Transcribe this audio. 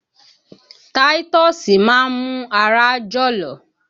Táítọ́ọ́sì máa mú ara jọ̀lọ̀